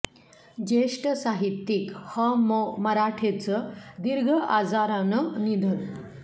ज्येष्ठ साहित्यिक ह मो मराठेंचं दीर्घ आजारानं निधन